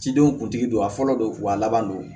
Cidenw kuntigi don a fɔlɔ don a laban don